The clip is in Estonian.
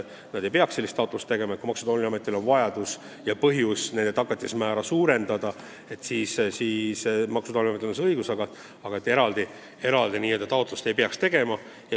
Kui Maksu- ja Tolliametil on põhjust nende tagatise määra suurendada, et siis Maksu- ja Tolliametil on see õigus, aga eraldi taotlust ei peaks tegema.